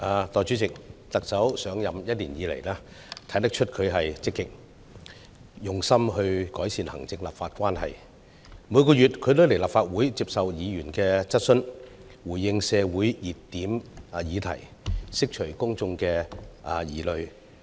代理主席，特首上任一年以來，看得出她很積極用心改善行政立法關係，她每個月也來立法會接受議員質詢，回應社會熱點議題，釋除公眾疑慮。